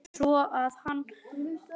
Svo að hann.